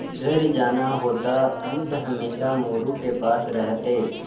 घर जाना होता अंक हमेशा मोरू के पास रहते